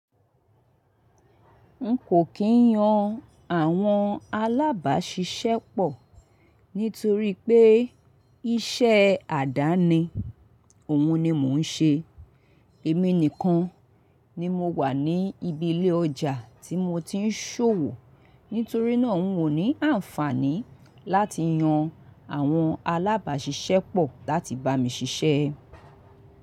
N kò kí yan àwọn alábàáṣiṣẹ́pọ̀ nítorí pé iṣẹ́ àdáni òun ni mò ń ṣe. Èmi nìkan ni mo wà ní ibi ilé ọjà tí mo ti ń ṣòwò, nítorí náà n ò ní àǹfààní láti yan àwọn alábàáṣiṣẹ́pọ̀ láti bá mi ṣiṣẹ́.